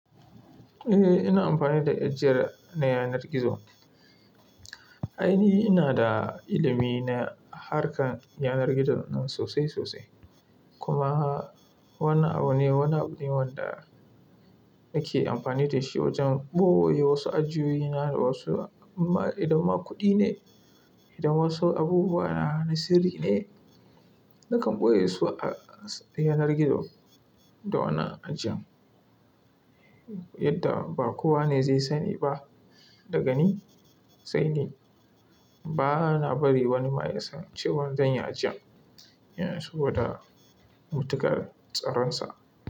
Eh, ina amfani da ajiyar na yanar gizo. Aini ina da ilimi na harkar yanar gizo nan sosai sosai. Kuma wannan abu ne, wannan abu ne wanda nake amfani da shi wajen ɓoye wasu ajiyoyi na da wasu idan ma kuɗi ne, idan wasu abubuwa na na sirri ne, nakan ɓoye su a yanar gizo da wannan ajiyan. Yadda ba kowa ne zai sani ba daga ni, sai ni. Ba na bari wani ma ya san cewan zan yi ajiyan, saboda mutukar tsaronsa.